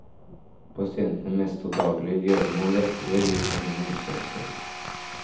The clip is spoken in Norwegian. Pasientene mestrer daglige gjøremål lettere, viser en ny undersøkelse.